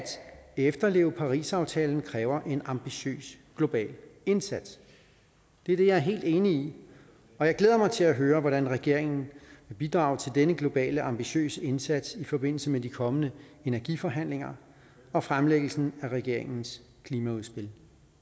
efterleve parisaftalen kræver en ambitiøs global indsats det er det jeg er helt enig i og jeg glæder mig til at høre hvordan regeringen vil bidrage til denne globale ambitiøse indsats i forbindelse med de kommende energiforhandlinger og fremlæggelsen af regeringens klimaudspil